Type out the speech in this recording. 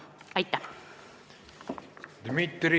" Aitäh!